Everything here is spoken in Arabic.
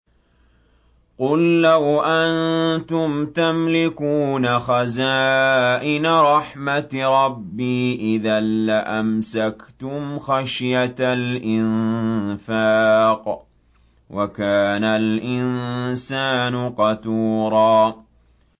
قُل لَّوْ أَنتُمْ تَمْلِكُونَ خَزَائِنَ رَحْمَةِ رَبِّي إِذًا لَّأَمْسَكْتُمْ خَشْيَةَ الْإِنفَاقِ ۚ وَكَانَ الْإِنسَانُ قَتُورًا